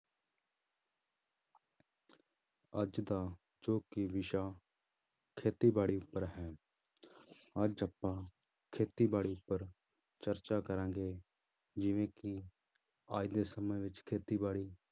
ਅੱਜ ਦਾ ਜੋ ਕਿ ਵਿਸ਼ਾ ਖੇਤੀਬਾੜੀ ਉੱਪਰ ਹੈ ਅੱਜ ਆਪਾਂ ਖੇਤੀਬਾੜੀ ਉੱਪਰ ਚਰਚਾ ਕਰਾਂਗੇ ਜਿਵੇਂ ਕਿ ਅੱਜ ਦੇ ਸਮੇਂ ਵਿੱਚ ਖੇਤੀਬਾੜੀ